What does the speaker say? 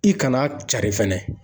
I kana cari fɛnɛ